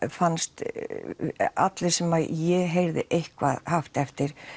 fannst öllum sem ég heyrði eitthvað haft eftir